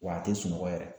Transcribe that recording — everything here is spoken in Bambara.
Wa a tɛ sunɔgɔ yɛrɛ